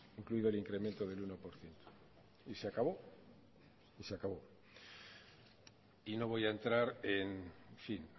incluido el incremento del uno por ciento y se acabó se acabó y no voy a entrar en fin